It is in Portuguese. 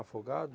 Afogados?